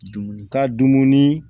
Dumuni ka dumuni